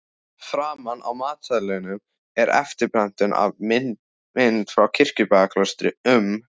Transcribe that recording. Framan á matseðlinum er eftirprentun af mynd frá Kirkjubæjarklaustri um